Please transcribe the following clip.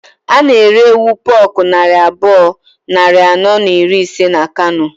A na-ere ewu puku naira abụọ, nari anọ na iri ise na Kano